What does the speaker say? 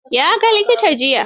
Ya ga likita jiya.